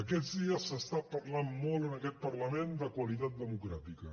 aquests dies s’està parlant molt en aquest parlament de qualitat democràtica